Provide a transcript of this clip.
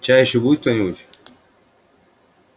чай ещё будет кто-нибудь